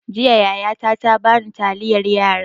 Jiya yaya ta ta bani taliyan yara.